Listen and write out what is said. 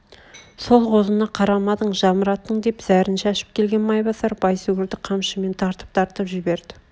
сол қозыны қарамадың жамыраттың деп зәрін шашып келген майбасар байсүгрді қамшымен тартып-тартып жіберді